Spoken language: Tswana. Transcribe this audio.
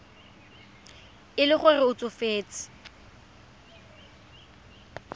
e le gore o tsofetse